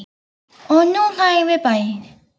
Og nú hlæjum við bæði.